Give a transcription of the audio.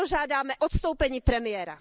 Proto žádáme odstoupení premiéra.